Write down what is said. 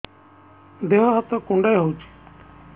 ଦେହ ହାତ କୁଣ୍ଡାଇ ହଉଛି